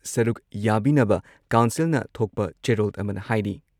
ꯁꯔꯨꯛ ꯌꯥꯕꯤꯅꯕ ꯀꯥꯎꯟꯁꯤꯜꯅ ꯊꯣꯛꯄ ꯆꯦꯔꯣꯜ ꯑꯃꯅ ꯍꯥꯏꯔꯤ ꯫